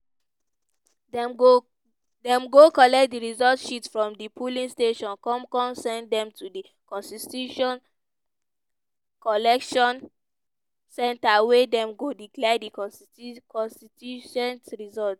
dem go collect di results sheets from di polling stations come come send dem to di constitution collection centre wey dem go declare di constitu constitution results.